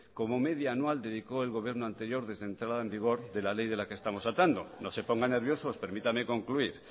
como media anual dedicó el gobierno anterior desde entrada en vigor de la ley de la que estamos hablando no se pongan nerviosos permítanme concluir